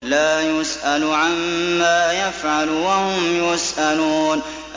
لَا يُسْأَلُ عَمَّا يَفْعَلُ وَهُمْ يُسْأَلُونَ